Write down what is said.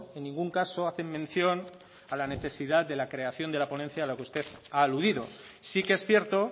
en ningún caso hacen mención a la necesidad de la creación de la ponencia a la que usted ha aludido sí que es cierto